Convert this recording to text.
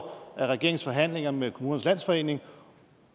i regeringens forhandlinger med kommunernes landsforening